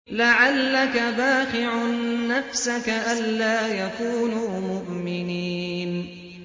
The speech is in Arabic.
لَعَلَّكَ بَاخِعٌ نَّفْسَكَ أَلَّا يَكُونُوا مُؤْمِنِينَ